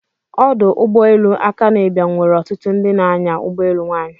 Ọdụ ụgbọ elu Akanu Ibiam nwere ọtụtụ ndị na-anya ụgbọelu nwanyi.